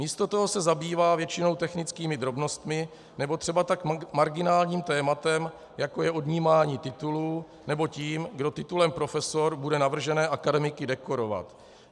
Místo toho se zabývá většinou technickými drobnostmi nebo třeba tak marginálním tématem, jako je odnímání titulů, nebo tím, kdo titulem profesor bude navržené akademiky dekorovat.